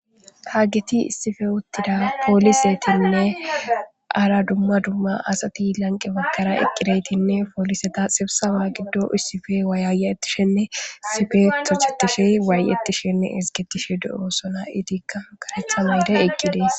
Hageti issipe uthida poolisetine hara duma duma asati lanqe matara eqidayti pooliseta sibseba gidon issipe woyayayetishene issipe tochetishe woyayayetishene issipe izgetishe de'osona eetika kareta mayo mayidi eqida.